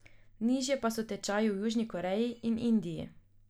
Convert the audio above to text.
Nižje pa so tečaji v Južni Koreji in Indiji.